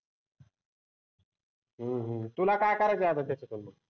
हम्म हम्म तुला काय करायच आहे